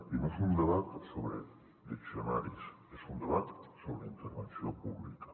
i no és un debat sobre diccionaris és un debat sobre intervenció pública